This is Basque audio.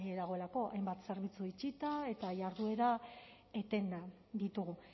dagoelako hainbat zerbitzu itxita eta jarduera etenda ditugu